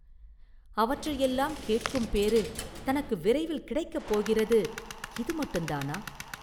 அவற்றையெல்லாம் கேட்கும் பேறு தனக்கு விரைவில் கிடைக்கப் போகிறது இது மட்டுந்தானா?